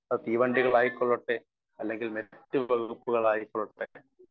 speaker 1 അത് തീവണ്ടികൾ ആയിക്കൊള്ളട്ടെ അല്ലെങ്കിൽ മറ്റുവകുപ്പുകളായിക്കൊള്ളട്ടെ